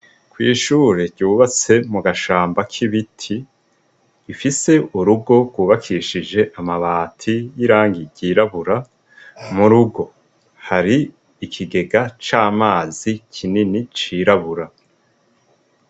Kw'ishure ryubatse mugashamba k'ibiti , ifise urugo rwubakishije amabati y'irangi ryirabura, mukigo hari ikigega c'amazi kinini cirabura.